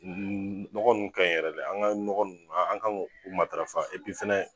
Nɔgɔ nunnu kaɲi yɛrɛ de, an ga nɔgɔ nunnu, an gan gu matarafa fana